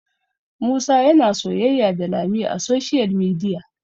Musa yana soyayya da lami a soshiyal midiya